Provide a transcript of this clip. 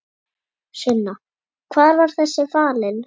Sunna: Hvar var þessi falinn?